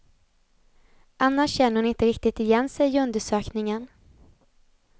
Annars känner hon inte riktigt igen sig i undersökningen.